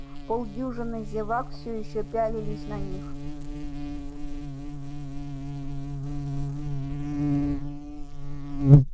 полдюжины зевак все ещё пялились на них